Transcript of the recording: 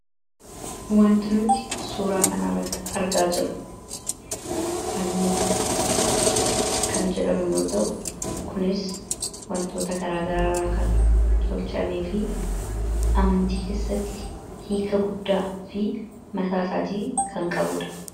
Wanti nuti suuraa kanarratti argaa jirru fannoo kan jedhamu yoo ta'u kunis wantoota garaagaraarraa kan tolchame fi amantii keessatti hiika guddaa fi mataa isaatii kan qabuudha.